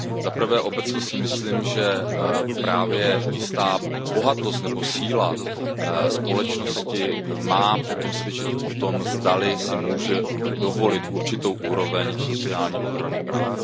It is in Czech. Za prvé obecně si myslím, že právě jistá bohatost nebo síla společnosti má potom svědčit o tom, zdali si může dovolit určitou úroveň sociální ochrany práv.